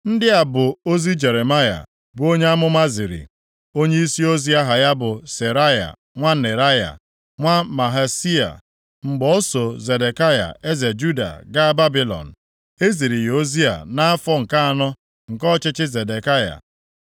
Ndị a bụ ozi Jeremaya, bụ onye amụma ziri onyeisi ozi aha ya bụ Seraya nwa Neraya, nwa Mahseia, mgbe o so Zedekaya eze Juda gaa Babilọn. E ziri ya ozi a nʼafọ nke anọ nke ọchịchị Zedekaya.